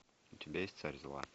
у тебя есть царь зла